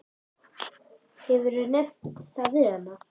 Hefurðu nefnt það við hana?